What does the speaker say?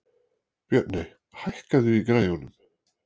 Björney, hækkaðu í græjunum.